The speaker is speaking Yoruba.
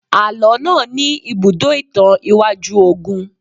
Àlọ́ náà ní ibùdó ìtàn iwájú ogun